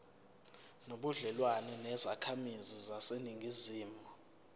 nobudlelwane nezakhamizi zaseningizimu